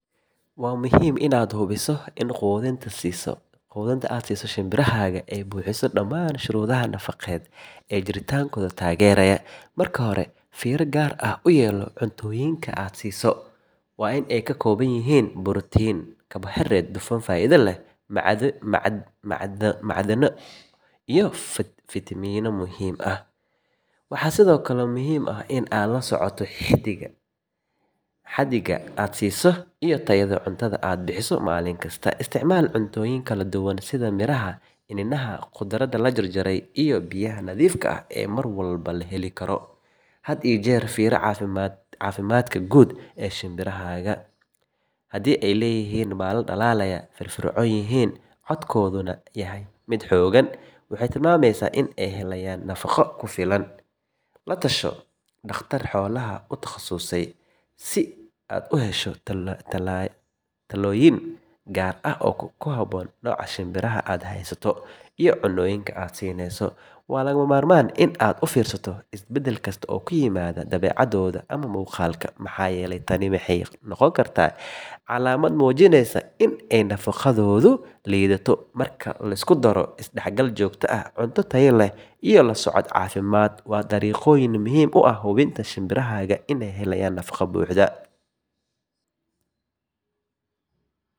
Waa muhiim inaad hubiso in quudinta aad siiso shimbirahaaga ay buuxiso dhammaan shuruudaha nafaqeed ee jiritaankooda taageeraya. Marka hore, fiiro gaar ah u yeelo cuntooyinka aad siiso. Waa in ay ka kooban yihiin borotiin, karbohaydarayt, dufan faa’iido leh, macdano iyo fiitamiino muhiim ah. Waxaa sidoo kale muhiim ah in aad la socoto xaddiga iyo tayada cuntada aad bixiso maalin kasta. Isticmaal cuntooyin kala duwan sida miraha, iniinaha, khudradda la jarjaray iyo biyaha nadiifka ah ee mar walba la heli karo. Had iyo jeer fiiri caafimaadka guud ee shimbirahaaga. Haddii ay leeyihiin baalal dhalaalaya, firfircoon yihiin, codkooduna yahay mid xooggan, waxay tilmaamaysaa in ay helayaan nafaqo ku filan. La tasho dhakhtar xoolaha ku takhasusay si aad u hesho talooyin gaar ah oo ku habboon nooca shimbiraha aad haysato. Waa lagama maarmaan in aad u fiirsato isbeddel kasta oo ku yimaada dabeecaddooda ama muuqaalka, maxaa yeelay tani waxay noqon kartaa calaamad muujinaysa in nafaqadoodu liidato. Marka la isku daro, isdhexgal joogto ah, cunto tayo leh iyo la socod caafimaad waa dariiqooyin muhiim u ah hubinta in shimbirahaaga ay helaan nafaqo buuxda.